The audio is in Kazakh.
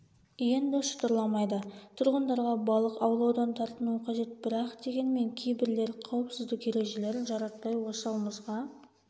енді шытырламайды тұрғындарға балық аулаудан тартынуы қажет бірақ дегенмен кейбірлер қауіпсіздік ережелерін жаратпай осал мұзға